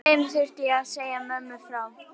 Þeim þurfti ég að segja mömmu frá.